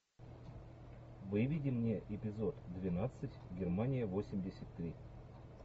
выведи мне эпизод двенадцать германия восемьдесят три